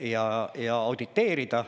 ja auditeerida.